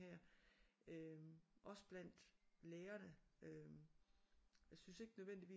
Her øh også blandt lærerne øh jeg syntes ikke nødvendigvis at